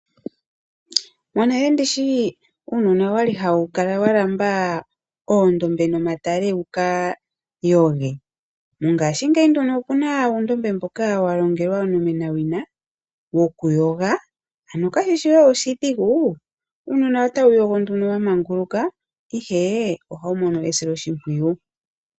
Monale nditya uunona okwali hawu kala wa lamba oondombe nomatale, wu ka yoge? Mongashingeyi nduno okuna uundmbe mboka wa longelwa onomenawina wokuyoga. Ano kashishi we oshidhigu, uunina otawu yogo nduno wa manguluka, ihe ohawu mono esiloshimpwiyu.